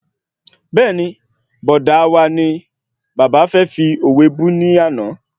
Bẹ́ẹ̀ni, Bọ̀dá wa ni bàbá fẹ́ fi òwe bú ni ọ̀la